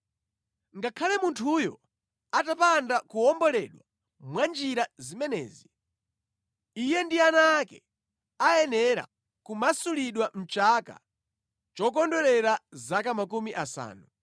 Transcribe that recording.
“ ‘Ngakhale munthuyo atapanda kuwomboledwa mwa njira zimenezi, iye ndi ana ake ayenera kumasulidwa mʼchaka chokondwerera zaka makumi asanu,